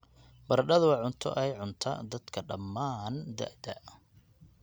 Baradhadu waa cunto ay cunta dadka dhammaan da'da.